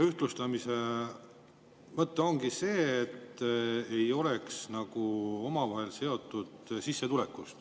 Ühtlustamise mõte ongi see, et need ei oleks seotud sissetulekuga.